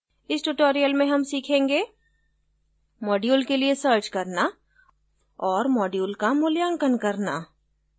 इस tutorial में हम सीखेंगे module के लिए सर्च करना और module का मूल्यांकन करना